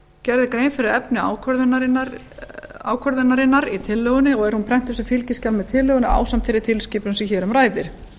gerð er grein fyrir efni ákvörðunarinnar í tillögunni og er hún prentuð sem fylgiskjal með tillögunni ásamt þeirri tilskipun sem hér um ræðir